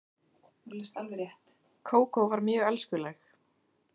Kókó var mjög elskuleg.